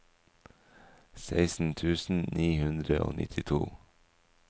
seksten tusen ni hundre og nittito